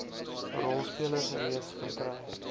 rolspelers reeds verkry